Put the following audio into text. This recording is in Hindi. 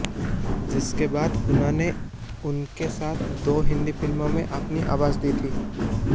जिसके बाद उन्होंने उनके साथ दो हिंदी फिल्मों में अपनी आवाज दी